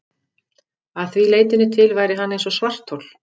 Að því leytinu til væri hann eins og svarthol.